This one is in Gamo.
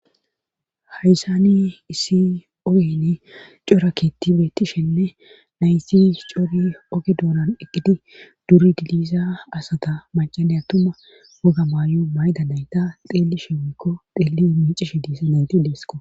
hayssani issi ooyene coraketi bettishenne naysi cori oge doonan eqqidi duri diliisa asata macalay atuma woga maayo mayda nayta xeelisheweykko xeelli miicishe diisamenti deesko